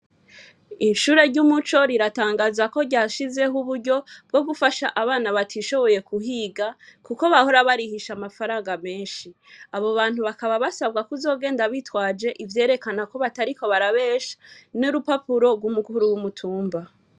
Ishure ry'Umuco, riratangaza ko bashizeho uburyo bwo gufasha abana batishoboye kuhiga kuko bahora barihisha amafaranga menshi. Abo bantu bakaba basabwa kuzogenda bitwaje ivyerekana ko batariko barabesha, n'urupapuro rw'umukuru w'umutumba.